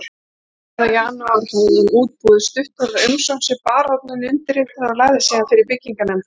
Fjórða janúar hafði hann útbúið stuttorða umsókn sem baróninn undirritaði og lagði síðan fyrir byggingarnefndina